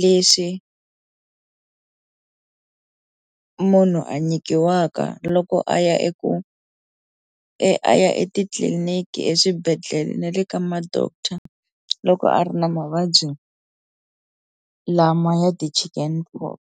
leswi munhu a nyikiwaka loko a ya eku ya etitliliniki eswibedhlele na le ka ma doctor loko a ri na mavabyi lama ya ti-chicken pox.